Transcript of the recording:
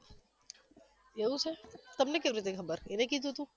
એવુ છે? તમને કેવી રીતે ખબર? એને કીધુ હતુ